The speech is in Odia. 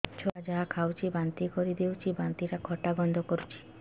ଛୁଆ ଯାହା ଖାଉଛି ବାନ୍ତି କରିଦଉଛି ବାନ୍ତି ଟା ଖଟା ଗନ୍ଧ କରୁଛି